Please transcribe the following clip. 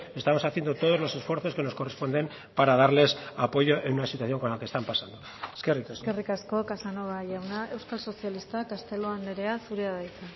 estamos haciendo todos los esfuerzos que nos corresponden para darles apoyo en una situación con la que están pasando eskerrik asko eskerrik asko casanova jauna euskal sozialistak castelo andrea zurea da hitza